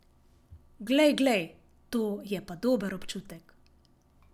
Glej, glej, to je pa dober občutek.